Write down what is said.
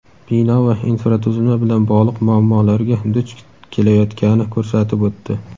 bino va infratuzilma bilan bog‘liq muammolarga duch kelayotgani ko‘rsatib o‘tdi.